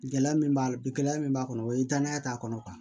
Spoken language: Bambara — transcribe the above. Gɛlɛya min b'a la gɛlɛya min b'a kɔnɔ o ye danaya t'a kɔnɔ